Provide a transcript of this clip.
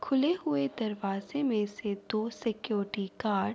کھلے ہوئے دروازے مے سے دو سیکورٹی گارڈ --